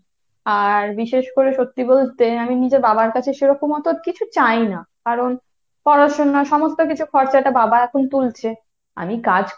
আর বিশেষ করে সত্যি বলতে, আমি নিজের বাবার কাছে সেরকম অত কিছু চাই না। কারণ পড়াশুনা সমস্ত কিছু খরচাটা বাবা এখন তুলছে। আমি কাজ